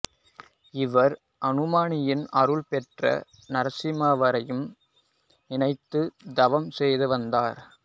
இவர் அனுமானின் அருள் பெற்று நரசிம்மரை நினைத்து தவம் செய்து வந்தார்